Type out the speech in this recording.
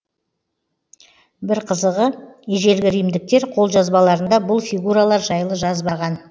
бір қызығы ежелгі римдіктер қолжазбаларында бұл фигуралар жайлы жазбаған